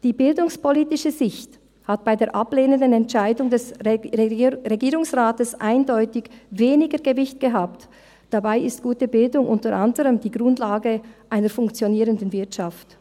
Die bildungspolitische Sicht hatte bei der ablehnenden Entscheidung des Regierungsrates eindeutig weniger Gewicht, dabei ist gute Bildung unter anderem die Grundlage einer funktionierenden Wirtschaft.